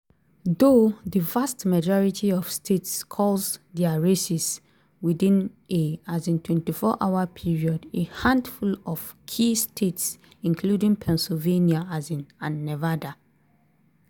though di vast majority of states call dia races within a um 24-hour period a handful of key states - including pennsylvania um and nevada -